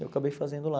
Eu acabei fazendo lá.